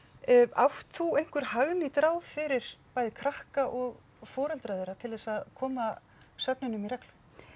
átt þú einhver hagnýt ráð fyrir bæði krakka og foreldra þeirra til þess að koma svefninum í reglu